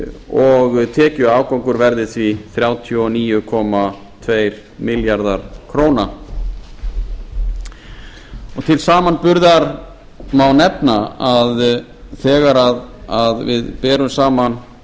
og tekjuafgangur verði því þrjátíu og níu komma tveir milljarðar króna til samanburðar má nefna að þegar við berum saman